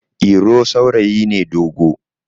iro saurayi ne dogo